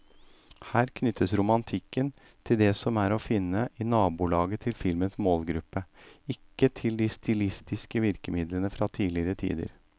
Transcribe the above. Her knyttes romantikken til det som er å finne i nabolaget til filmens målgruppe, ikke til de stilistiske virkemidlene fra tidligere tider.